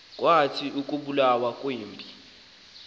kwathi ukubulawa kwempi